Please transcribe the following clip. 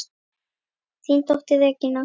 Þín dóttir, Regína.